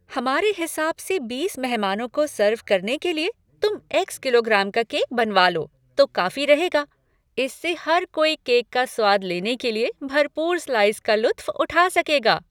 हमारे हिसाब से बीस मेहमानों को सर्व करने के लिए, तुम एक्स किलोग्राम का केक बनवा लो तो काफी रहेगा। इससे हर कोई केक का स्वाद लेने के लिए भरपूर स्लाइस का लुत्फ़़ उठा सकेगा।